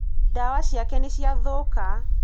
ndawa ciake nīciathūka.